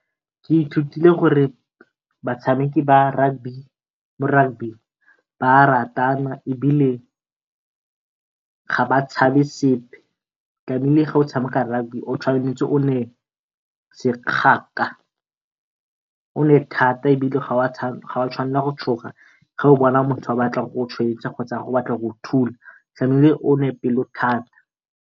Ke ithutile gore batshameki ba rugby mo rugby ba ratana, ebile ga ba tshabe sepe. Tlamile ga o tshameka rugby o tshwanetse o nne o nne thata, ebile ga wa tshwanelwa ke go tshoga ge o bona motho a batla go go kgotsa motho a batla go go thula tlamile o nne pelo thata.